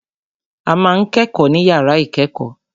A ma ń kẹ́kọ̀ọ́ ní yàrá ìkẹ́kọ̀ọ́.